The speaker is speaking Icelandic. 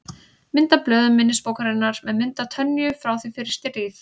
Mynd af blöðum minnisbókarinnar með mynd af Tönyu frá því fyrir stríð.